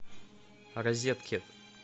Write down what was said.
розеткед